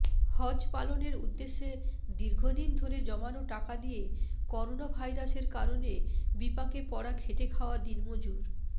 হজ পালনের উদ্দেশে দীর্ঘদিন ধরে জমানো টাকা দিয়ে করোনাভাইরাসের কারণে বিপাকে পড়া খেটে খাওয়া দিনমজুর